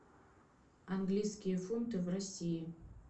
английские фунты в россии